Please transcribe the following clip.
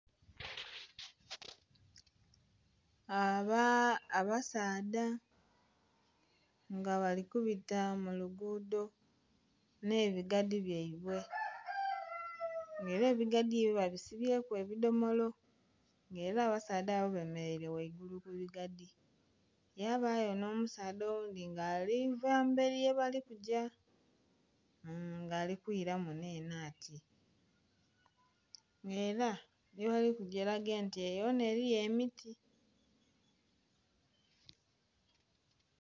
Abasaadha nga bali kubita mu lugudho n'ebigadi byaibwe. Nga era ebigadi ebyo babisibyeku ebidomolo. Nga era abasaadha abo bemeleire waigulu ku bigadi. Yabayo n'omusaadha owundhi nga ali va emberi yebali kugya ng'ali kwira muno eno ati. Era yebali kuja eraga nti eyo yona eriyo emiti.